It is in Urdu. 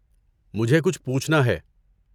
مجھے کچھ پوچھنا ہے۔